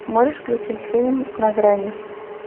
можешь включить фильм на грани